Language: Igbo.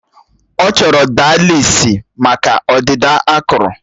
Ọ chọrọ daalisịs maka ọdịda akụrụ